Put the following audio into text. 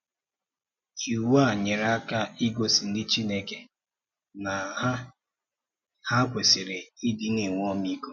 Ìwu a nyere aka ígosi ndị Chineke na ha ha kwesịrị ịdị na-enwe ọmịiko.